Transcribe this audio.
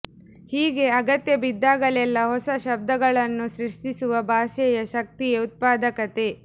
ಹೀಗೆ ಅಗತ್ಯ ಬಿದಾಗಲೆಲ್ಲ ಹೊಸ ಶಬ್ದಗಳನ್ನು ಸೃಷ್ಟಿಸುವ ಭಾಷೆಯ ಶಕ್ತಿಯೇ ಉತ್ಪಾದಕತೆ